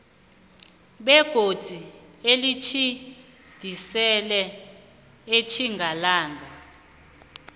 begodu nelitjhidiselwe etjingalanga